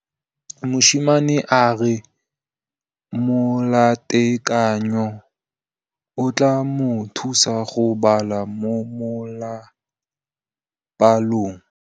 Mosimane a re molatekanyô o tla mo thusa go bala mo molapalong.